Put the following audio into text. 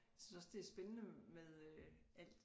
Jeg synes også det er spændende med øh at